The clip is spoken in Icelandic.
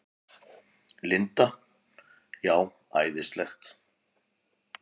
Linda: Já, æðislegt?